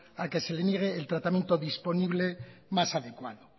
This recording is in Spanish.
a que se le niegue el tratamiento disponible más adecuado